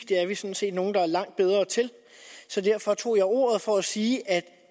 det er vi sådan set nogle der er langt bedre til så derfor tog jeg ordet for at sige